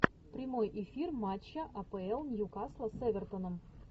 прямой эфир матча апл ньюкасла с эвертоном